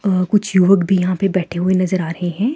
अ कुछ युवक भी यहाँ पे बैठे हुए नजर आ रहे हैं।